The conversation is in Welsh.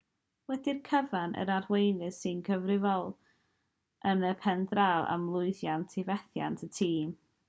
wedi'r cyfan yr arweinydd sy'n gyfrifol yn y pen draw am lwyddiant neu fethiant y tîm